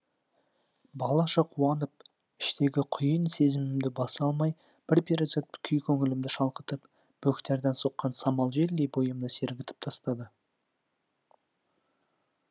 балаша қуанып іштегі құйын сезімімді баса алмай бір перизат күй көңілімді шалқытып бөктерден соққан самал желдей бойымды сергітіп тастады